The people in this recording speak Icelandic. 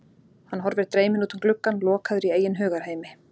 Hann horfir dreyminn út um gluggann, lokaður í eigin hugarheimi.